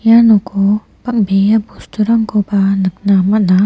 ia noko bangbe·a bosturangkoba nikna man·a.